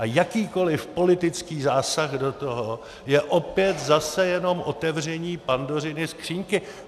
A jakýkoli politický zásah do toho je opět zase jenom otevření Pandořiny skříňky.